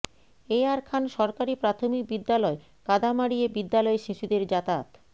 এ আর খান সরকারি প্রাথমিক বিদ্যালয় কাদা মাড়িয়ে বিদ্যালয়ে শিশুদের যাতায়াত